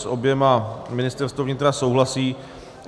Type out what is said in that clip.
S oběma Ministerstvo vnitra souhlasí.